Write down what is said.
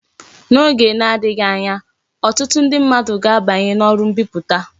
N'oge na-adighi anya, otutu ndi mmadu ga abanyi na oru mbiputa